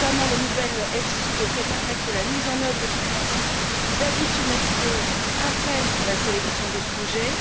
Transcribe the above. Le nouvel EFSI devrait notamment permettre que la mise en œuvre du principe d'additionnalité imprègne la sélection des projets.